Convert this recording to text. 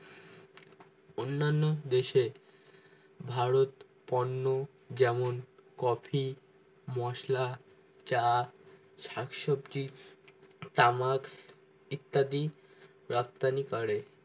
অন্যান দেশে ভারত পণ্য যেমন কফি, মশলা, চা, শাকসবজি, তামাক ইত্যাদি রপ্তানি করে